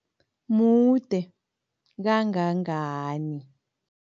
Mude kangangani?